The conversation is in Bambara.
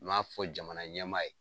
N m'a fɔ jamana ɲɛmaa ye